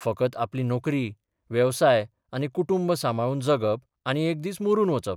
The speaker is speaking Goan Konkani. फकत आपली नोकरी, वेवसाय आनी कुटुंब सांबाळून जगप आनी एक दीस मरून वचप.